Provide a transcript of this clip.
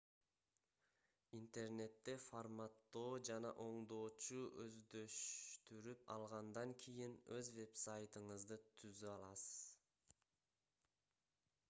интернетте форматтоо жана оңдоону өздөштүрүп алгандан кийин өз вебсайтыңызды түзө аласыз